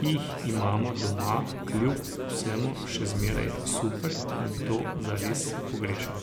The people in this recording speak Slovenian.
ki jih imamo doma kljub vsemu še zmeraj super in to zares pogrešam.